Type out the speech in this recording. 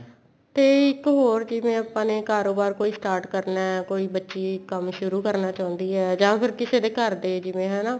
ਤੇ ਇੱਕ ਹੋਰ ਜਿਵੇਂ ਆਪਾਂ ਨੇ ਕਾਰੋਬਾਰ ਕੋਈ start ਕਰਨਾ ਕੋਈ ਬੱਚੀ ਕੰਮ ਸ਼ੁਰੂ ਕਰਨਾ ਚਾਉਂਦੀ ਏ ਜਾਂ ਫੇਰ ਕਿਸੇ ਦੇ ਘਰ ਦੇ ਜਿਵੇਂ ਹਨਾ